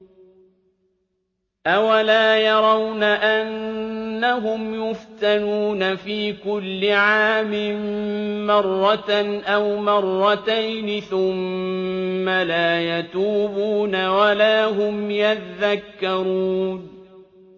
أَوَلَا يَرَوْنَ أَنَّهُمْ يُفْتَنُونَ فِي كُلِّ عَامٍ مَّرَّةً أَوْ مَرَّتَيْنِ ثُمَّ لَا يَتُوبُونَ وَلَا هُمْ يَذَّكَّرُونَ